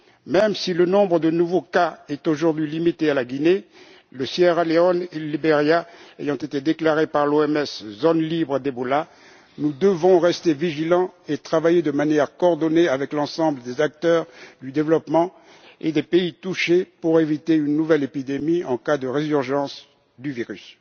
Même si le nombre de nouveaux cas est aujourd'hui limité à la Guinée, la Sierra Leone et le Liberia ayant été déclarés par l'OMS zones libres du virus Ebola, nous devons rester vigilants et travailler de manière coordonnée avec l'ensemble des acteurs du développement et des pays touchés pour éviter une nouvelle épidémie en cas de résurgence du virus.